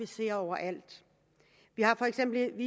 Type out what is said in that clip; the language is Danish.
ske overalt for eksempel